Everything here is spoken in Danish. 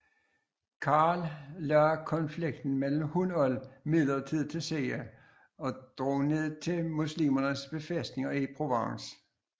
Karl lagde konflikten med Hunold midlertidig til side og drog ned til muslimernes befæstninger i Provence